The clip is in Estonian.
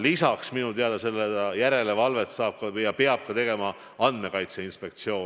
Lisaks saab minu teada seda järelevalvet teha ja peab ka tegema Andmekaitse Inspektsioon.